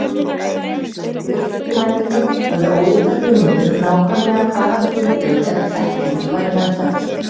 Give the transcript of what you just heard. Rökhyggjumennirnir höfðu ólíkar hugmyndir um nákvæmlega hvaða hugtök eða þekking væri meðfædd.